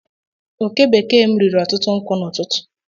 Oke bekee m riri otutu nkwu n'ututu